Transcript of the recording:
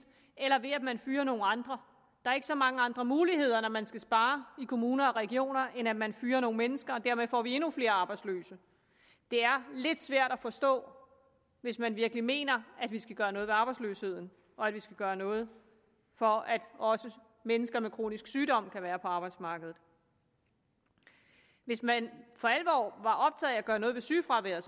eller ved at man fyrer nogle andre er ikke så mange andre muligheder når man skal spare i kommuner og regioner end at man fyrer nogle mennesker og dermed får vi endnu flere arbejdsløse det er lidt svært at forstå hvis man virkelig mener at vi skal gøre noget ved arbejdsløsheden og at vi skal gøre noget for at også mennesker med kronisk sygdom kan være på arbejdsmarkedet hvis man for alvor var optaget af at gøre noget ved sygefraværet